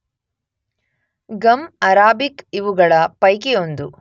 Gum Arabic ಇವುಗಳ ಪೈಕಿ ಒಂದು.